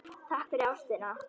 Takk fyrir ástina.